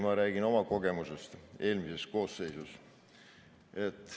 Ma räägin oma kogemusest eelmises koosseisus.